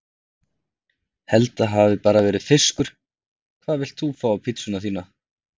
Held það hafi bara verið fiskur Hvað vilt þú fá á pizzuna þína?